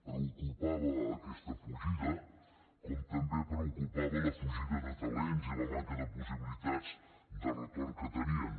preocupava aquesta fugida com també preocupava la fugida de talents i la manca de possibilitats de retorn que tenien